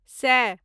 सए